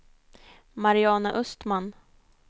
Mariana Östman